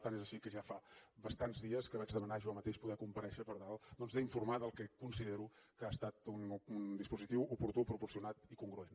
tant és així que ja fa bastants dies que vaig demanar jo mateix poder comparèixer per tal doncs d’informar del que considero que ha estat un dispositiu oportú proporcionat i congruent